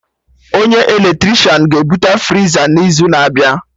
Onye eletrishan ga ebute friza mụ n'izu na-abịa